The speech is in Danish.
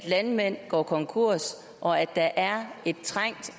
landmænd går konkurs og at der er et trængt